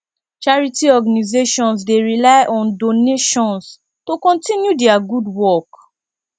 charity organizations dey rely on donations to continue dia gud wok